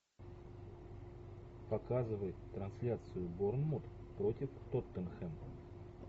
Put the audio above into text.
показывай трансляцию борнмут против тоттенхэм